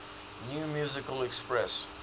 new musical express